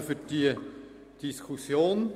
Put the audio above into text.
Danke für diese Diskussion.